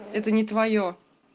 это не твоё